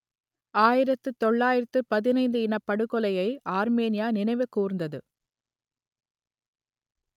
ஆயிரத்து தொள்ளாயிரத்து பதினைந்து இனப்படுகொலையை ஆர்மீனியா நினைவு கூர்ந்தது